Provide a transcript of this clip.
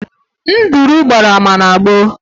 nduru gbara ama na gboo